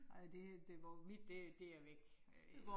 Ej det det, mit det det er væk øh